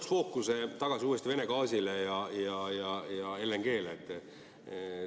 Ma tooks fookuse uuesti Vene gaasile ja LNG‑le.